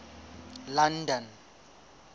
london